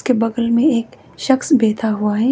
के बगल में एक शख्स बैठा हुआ है।